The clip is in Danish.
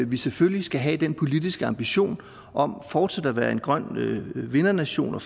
vi selvfølgelig skal have den politiske ambition om fortsat at være en grøn vindernation og